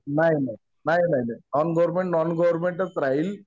नाही नाही. Non government, non गव्हर्मेंटच राहील.